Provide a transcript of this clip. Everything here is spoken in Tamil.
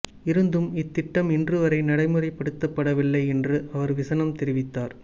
இருந்தும் இத்திட்டம் இன்று வரை நடைமுறைப்படுத்தப்படவில்லை என்றும் அவர் விசனம் தெரிவித்தார்